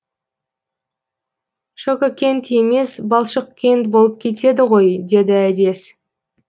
шококент емес балшықкент болып кетеді ғой деді әдес